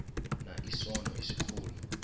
na isono esikhulu